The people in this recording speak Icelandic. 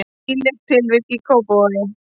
Nýlegt tilvik í Kópavogi